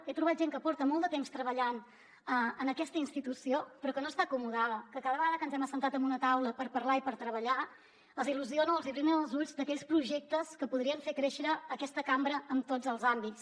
he trobat gent que porta molt de temps treballant en aquesta institució però que no està acomodada que cada vegada que ens hem assentat en una taula per parlar i per treballar els il·lusiona els brillen els ulls d’aquells projectes que podrien fer créixer aquesta cambra en tots els àmbits